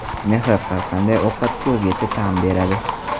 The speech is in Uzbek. Mehr har qanday ovqatga o‘zgacha ta’m beradi.